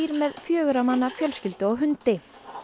með fjögurra manna fjölskyldu og hundi